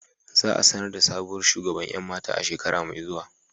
Za a sanar da sabuwar shugaban 'yan mata a shekara mai zuwa.